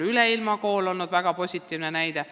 Üleilmakool on olnud väga positiivne näide.